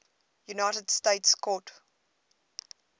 united states court